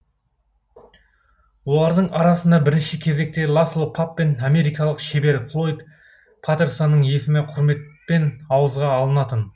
олардың арасында бірінші кезекте ласло папп пен америкалық шебер флойд паттерсонның есімі құрметпен ауызға алынатын